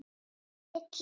Milli þeirra